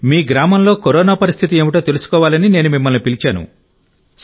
మీ గ్రామంలో కరోనా పరిస్థితి ఏమిటో తెలుసుకోవాలని నేను మిమ్మల్ని పిలిచాను